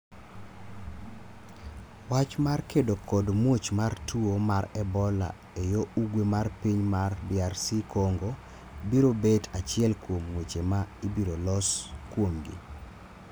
wach mar kedo kod muoch mar tuo mar Ebola e yo ugwe mar piny mar DRC Congo biro bet achiel kuom weche ma ibiro los kuomgi.